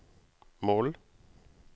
mål